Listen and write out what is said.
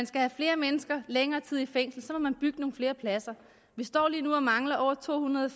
skal flere mennesker længere tid i fængsel må man bygge nogle flere pladser vi står lige nu og mangler over to hundrede